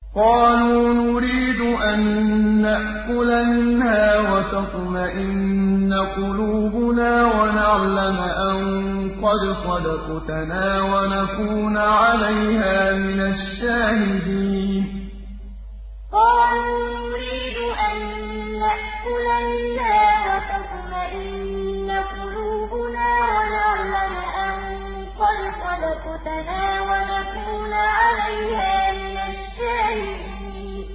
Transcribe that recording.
قَالُوا نُرِيدُ أَن نَّأْكُلَ مِنْهَا وَتَطْمَئِنَّ قُلُوبُنَا وَنَعْلَمَ أَن قَدْ صَدَقْتَنَا وَنَكُونَ عَلَيْهَا مِنَ الشَّاهِدِينَ قَالُوا نُرِيدُ أَن نَّأْكُلَ مِنْهَا وَتَطْمَئِنَّ قُلُوبُنَا وَنَعْلَمَ أَن قَدْ صَدَقْتَنَا وَنَكُونَ عَلَيْهَا مِنَ الشَّاهِدِينَ